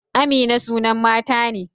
Amina sunan mata ne.